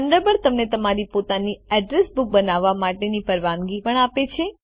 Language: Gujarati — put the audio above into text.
થન્ડરબર્ડ તમને તમારી પોતાની અડ્રેસ બુક બનાવવા માટેની પરવાનગી પણ આપે છે